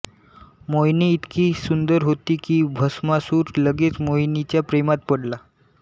मोहिनी इतकी सुंदर होती की भस्मासुर लगेच मोहिनीच्या प्रेमात पडला